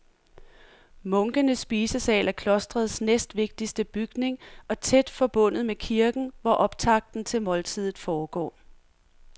Munkenes spisesal er klostrets næstvigtigste bygning og tæt forbundet med kirken, hvor optakten til måltidet foregår.